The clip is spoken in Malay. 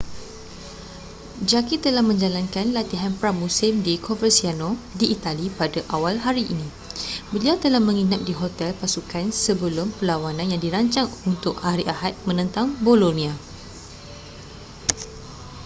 jarque telah menjalankan latihan pra-musim di coverciano di itali pada awal hari beliau telah menginap di hotel pasukan sebelum perlawanan yang dirancang untuk hari ahad menentang bolonia